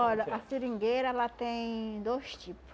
Olha, a seringueira ela tem dois tipo.